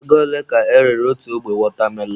Ego ole ka erere otu ogbe wọtamelọn?